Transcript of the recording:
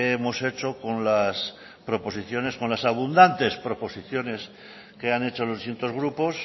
hemos hecho con las abundantes proposiciones que han hecho los distintos grupos